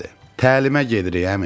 Təlimə gedirik, əmi.